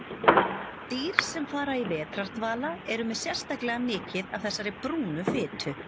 Dýr sem fara í vetrardvala eru með sérstaklega mikið af þessari brúnu fitu.